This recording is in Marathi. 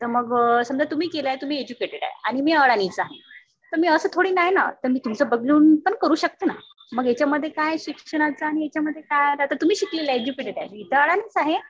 समजा तुम्ही केलंय. तुम्ही एज्युकेटेड आहे. आणि मी अडाणीच आहे. तर मी असं थोडी ना आहे ना मी तुमचं बघून पण करू शकते ना. मग याच्यामध्ये काय शिक्षणाचं आणि याच्यामध्ये काय आलं? तुम्ही शिकलेल्या आहे एज्युकेटेड आहे. मी तर अडाणीच आहे.